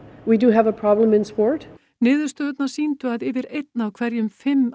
niðurstöðurnar sýndu að yfir einn af hverjum fimm